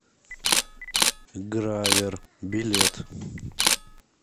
гравер билет